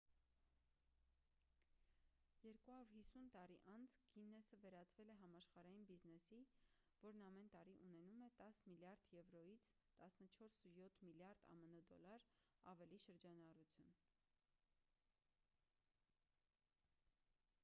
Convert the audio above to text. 250 տարի անց գիննեսը վերածվել է համաշխարհային բիզնեսի որն ամեն տարի ունենում է 10 միլիարդ եվրոյից 14,7 միլիարդ ամն դոլար ավելի շրջանառություն: